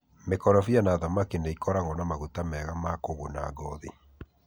Mĩkorobia na thamaki nĩ ikoragwo na maguta mega ma kũguna ngothi.